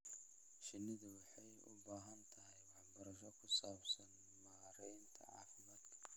Shinnidu waxay u baahan tahay waxbarasho ku saabsan maaraynta caafimaadka.